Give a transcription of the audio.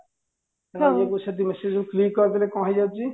ସେ message କୁ click କରିଦେଲେ କଣ ହେଇଯାଉଚି